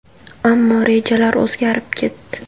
Ammo rejalar o‘zgarib ketdi.